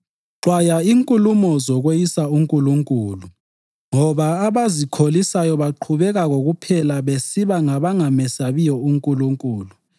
Xwaya inkulumo zokweyisa uNkulunkulu ngoba abazikholisayo baqhubeka kokuphela besiba ngabangamesabiyo uNkulunkulu.